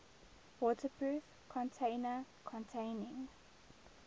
waterproof container containing